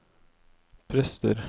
prester